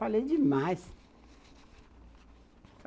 Falei demais.